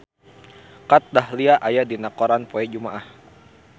Kat Dahlia aya dina koran poe Jumaah